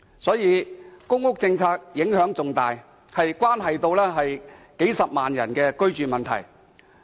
所以，公屋政策影響重大，關乎數十萬人的居住問題。